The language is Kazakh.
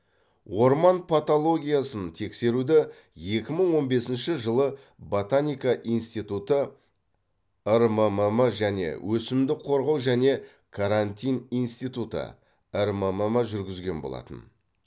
орман патологиясын тексеруді екі мың он бесінші жылы ботаника институты рммм және өсімдік қорғау және карантин институты рммм жүргізген болатын